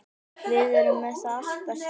Við erum með allt það besta.